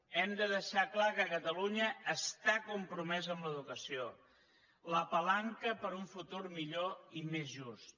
hem de deixar clar que catalunya està compromesa amb l’educació la palanca per a un futur millor i més just